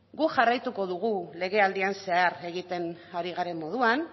guk jarraitu dugu legealdian zehar egiten ari garen moduan